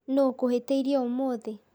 Nũ ũkũhĩtĩirie ũmũthĩ?